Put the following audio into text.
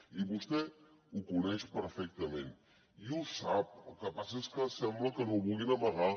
i vostè ho coneix perfectament i ho sap el que passa és que sembla que ho vulguin amagar